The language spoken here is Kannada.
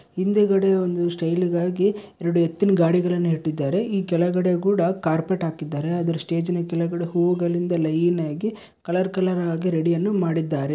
ಹಿಂದೆಗಡೆ ಒಂದು ಸ್ಟೈಲು ಗಾಗಿ ಎರೆಡು ಎತ್ತಿನ ಗಾಡಿಗಳನ್ನು ಇಟ್ಟಿದ್ದಾರೆ ಇ ಕೆಳಗಡೆ ಕೂಡ ಕಾರ್ಪೆಟ್ ಹಾಕಿದ್ದಾರೆ ಅದ್ರ್ ಸ್ಟೇಜಿನ ಕೆಳಗಡೆ ಹುವುಗಳಿಂದ ಲೈನ್ ಆಗಿ ಕಲರ್ ಕಲರ್ ಆಗಿ ರೇಡಿ ಯನ್ನು ಮಾಡಿದ್ದಾರೆ.